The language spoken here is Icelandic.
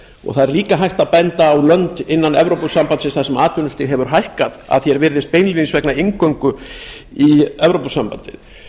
það er líka hægt að benda á lönd innan evrópusambandsins þar sem atvinnustig hefur hækkað að því er virðist beinlínis vegna inngöngu í evrópusambandið